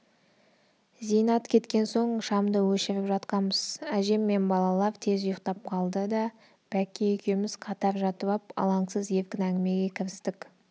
зейнат кеткен соң шамды өшіріп жатқанбыз әжем мен балалар тез ұйқтап қалды да бәкке екеуміз қатар жатып ап алаңсыз еркін әңгімеге кірістік